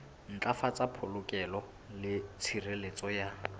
ntlafatsa polokeho le tshireletso ya